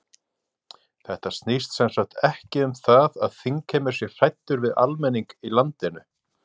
Þetta snýst sem sagt ekki um það að þingheimur sé hræddur við almenning í landinu?